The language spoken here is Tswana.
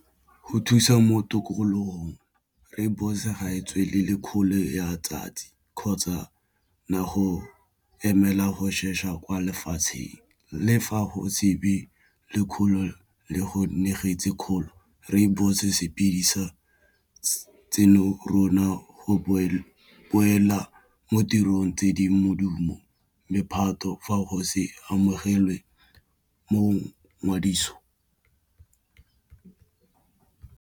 Go thusa mo tikologong rooibos-e ga e tswelele kgolo ya tsatsi kgotsa na go emela go shasha kwa lefatsheng, le fa go shebe le kgolo le go negetse kgolo rooibos-o se bidisa tseno rona go opela mo tirong tse di modumo mephato fa go se amogelwe mo ngwadiso.